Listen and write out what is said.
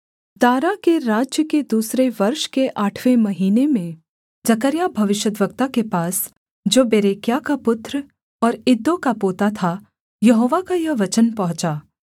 दारा के राज्य के दूसरे वर्ष के आठवें महीने में जकर्याह भविष्यद्वक्ता के पास जो बेरेक्याह का पुत्र और इद्दो का पोता था यहोवा का यह वचन पहुँचा